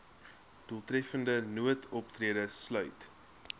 doeltreffende noodoptrede sluit